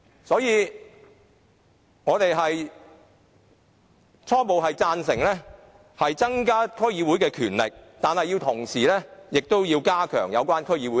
所以，我們初步贊成增加區議會的權力，但同時要加強對其監察。